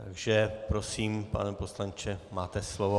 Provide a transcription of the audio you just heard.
Takže prosím, pane poslanče, máte slovo.